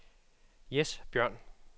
Jes Bjørn